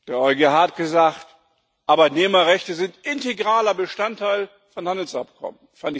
Der EuGH hat gesagt, Arbeitnehmerrechte sind integraler Bestandteil von Handelsabkommen.